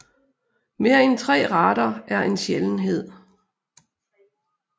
Mere end tre retter er en sjældenhed